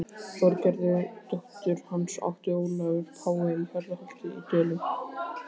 Þorgerði dóttur hans átti Ólafur pái í Hjarðarholti í Dölum.